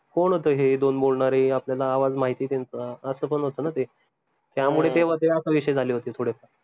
कोण होत हे दोन बोलणारे आपल्याला आवाज माहितीय त्यांचा असं पन होत न ते ते विषय झाले होते थोडे फार